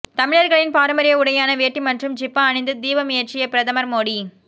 தமிழர்களின் பாரம்பரிய உடையான வேட்டி மற்றும் ஜிப்பா அணிந்து தீபம் ஏற்றிய பிரதமர் மோடி